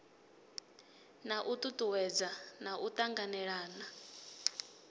na u tutuwedza u tanganelana